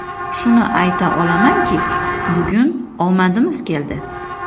Shuni ayta olamanki, bugun omadimiz keldi.